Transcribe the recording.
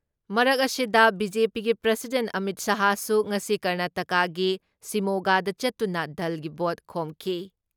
ꯃꯔꯛ ꯑꯁꯤꯗ, ꯕꯤ.ꯖꯦ.ꯄꯤꯒꯤ ꯄ꯭ꯔꯁꯤꯗꯦꯟ ꯑꯃꯤꯠ ꯁꯍꯥꯁꯨ ꯉꯁꯤ ꯀꯔꯅꯥꯇꯛꯀꯥꯒꯤ ꯁꯤꯃꯣꯒꯥꯗ ꯆꯠꯇꯨꯅ ꯗꯜꯒꯤ ꯚꯣꯠ ꯈꯣꯝꯈꯤ ꯫